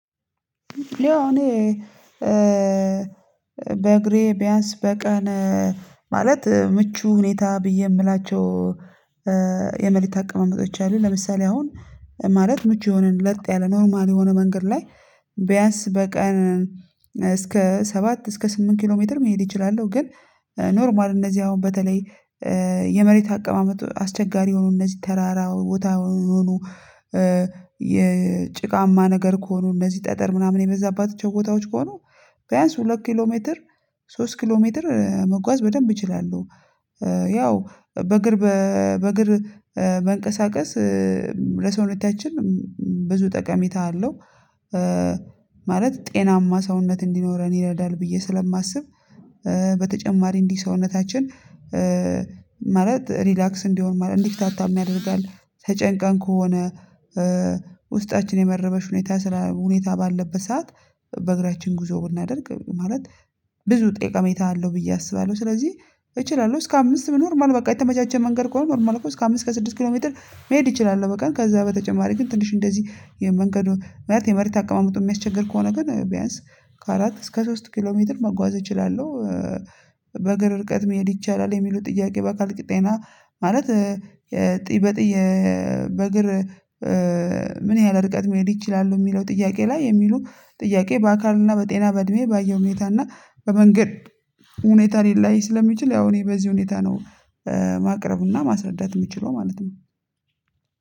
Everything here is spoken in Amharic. ያቅ እኔ በእግሬ ቢያንስ በቀን ማለት ምቹ ሁኔታ ብዬ የምላቸው የመሬታ አቀማመጦች አሉ ለምሳሌ አሁን ማለት ምቹ የሆነ ለጥ ያለ ኖርማል የሆነ መንገድ ላይ ቢያንስ በቀን እስከ ሰባት እስከ ስምንት ኪሎ ሜትር መሄድ እችላለሁ ግን ኖርማል እነዚህ አሁን በተለይ የመሬት አቀማመጡ አስቸጋሪ ሆኖ እነዚህ ተራራ ቦታ ሆኖ የጭቃማ ነገር ከሆኑ እነዚህ ጠጠር ምናምን የበዛባት ቦታዎች ከሆኑ ቢያንስ ሁለት ኪሎ ሜትር ሶስት ኪሎ ሜትር መጓዝ በደንብ እችላለሁ ያው በእግር በእግር መንቀሳቀስ ለሰውነታችን ብዙ ጠቀሜታ አለው ማለት ጤናማ ሰውነት እንዲኖረን ይረዳል ብዬ ስለማስብ በተጨማሪ እንዲህ ሰውነታችን ማለት ሪላክስ እንዲሆን ማለት እንዲፍታታ ያደርጋል ተጨንቀን ከሆነ ውስጣችን የመረበሽ ሁኔታ ሁኔታ ባለበት ሰዓት በእግራችን ጉዞ ብናደርግ ማለት ብዙ ጥቅሜታ አለው ብዬ አስባለሁ ስለዚህ እችላለሁ እስከ አምስት ኖርማል በቃ የተመቻቸ መንገድ ከሆነ ኖርማል እስከ አምስት እስከ ስድስት ኪሎ ሜትር መሄድ እችላለሁ በቃ ከዛ በተጨማሪ ግን ትንሽ እንደዚህ የመንገዱ ማለት የመሬት አቀማመጡ የሚያስቸግር ከሆነ ግን ቢያንስ ከአራት እስከ ሶስት ኪሎ ሜትር መጓዝ እችላለሁ በእግር ርቀት መሄድ ይቻላል የሚሉት ጥያቄ በአካል ቅጤና ማለት የጥይ በጥይ በእግር ምን ያህል ርቀት መሄድ ይችላሉ? የሚለው ጥያቄ ላይ የሚሉ ጥያቄ በአካልና በጤና በእድሜ በአየር ሁኔታና እና በመንገድ ሁኔታ ሊለያይ ስለሚችል ያው እኔ በዚህ ሁኔታ ነው ማቅረብና ማስረዳት የምችለው ማለት ነው